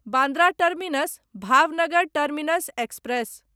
Bandra terminus Bhavnagar terminus express